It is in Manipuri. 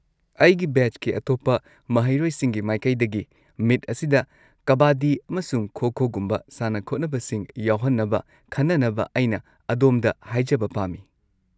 ꯑꯩꯒꯤ ꯕꯦꯆꯀꯤ ꯑꯇꯣꯞꯄ ꯃꯍꯩꯔꯣꯢꯁꯤꯡꯒꯤ ꯃꯥꯏꯀꯩꯗꯒꯤ, ꯃꯤꯠ ꯑꯁꯤꯗ ꯀꯕꯥꯗꯤ ꯑꯃꯁꯨꯡ ꯈꯣ-ꯈꯣꯒꯨꯝꯕ ꯁꯥꯟꯅ-ꯈꯣꯠꯅꯕꯁꯤꯡ ꯌꯥꯎꯍꯟꯅꯕ ꯈꯟꯅꯅꯕ ꯑꯩꯅ ꯑꯗꯣꯝꯗ ꯍꯥꯏꯖꯕ ꯄꯥꯝꯃꯤ꯫